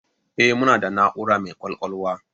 Eh, muna da na'ura mai kwakwalwa